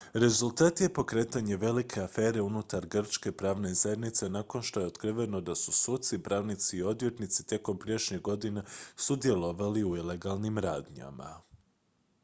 rezultat je pokretanje velike afere unutar grčke pravne zajednice nakon što je otkriveno da su suci pravnici i odvjetnici tijekom prijašnjih godina sudjelovali u ilegalnim radnjama